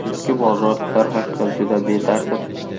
Eski bozor darhaqiqat juda betartib.